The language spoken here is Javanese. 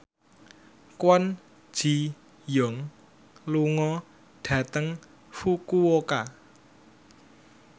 Kwon Ji Yong lunga dhateng Fukuoka